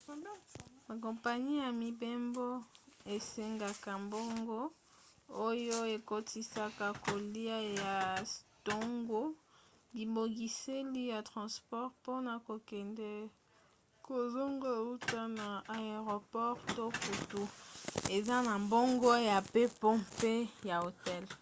bakompani ya mibembo esengaka mbongo oyo ekotisaka kolia ya ntongo bibongiseli ya transport mpona kokende/kozonga uta na aeroport to kutu eza na mbongo ya mpepo mpe ya hotel